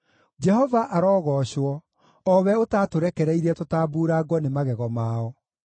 Jehova arogoocwo, o we ũtaatũrekereirie tũtambuurangwo nĩ magego mao.